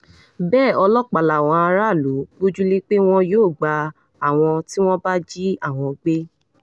bẹ́ẹ̀ ọlọ́pàá làwọn aráàlú gbójú lé pé wọn yóò gba àwọn tí wọ́n bá jí àwọn gbé